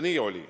Nii oli.